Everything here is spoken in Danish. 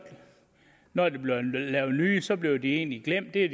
når der var blevet lavet nye regler så blev de egentlig glemt det